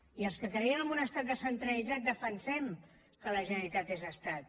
i els que creiem en un estat descentralitzat defensem que la generalitat és estat